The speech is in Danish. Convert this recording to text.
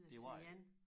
Det var det